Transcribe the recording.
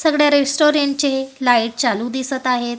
सगळ्या रेस्टॉरंट चे लाईट चालू दिसतं आहेत.